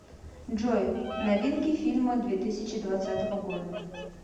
джой новинки фильма две тысячи двадцатого года